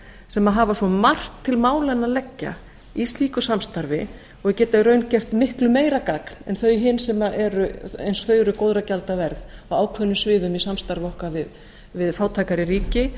sem hafa svo margt til málanna að leggja í slíku samstarfi og geta í raun gert miklu meira gagn en hin eins og þau eru góðra gjalda verð á ákveðnum sviðum í samstarfi okkar við fátækari ríki